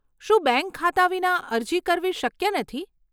શું બેંક ખાતા વિના અરજી કરવી શક્ય નથી?